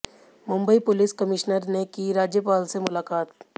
Mumbai police commissioner ने की राज्यपाल से मुलाकात